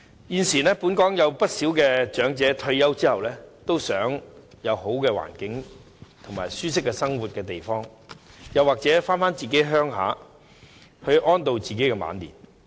現時，本港不少長者在退休後均希望有良好的環境和舒適生活的地方，或回鄉安度晚年。